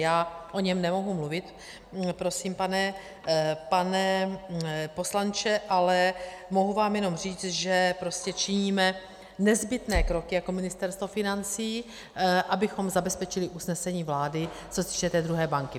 Já o něm nemohu mluvit, prosím, pane poslanče, ale mohu vám jenom říct, že prostě činíme nezbytné kroky jako Ministerstvo financí, abychom zabezpečili usnesení vlády, co se týče té druhé banky.